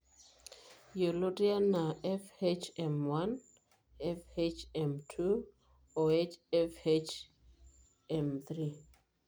Yioloti anaa FHM1,FHM2 o FHM3.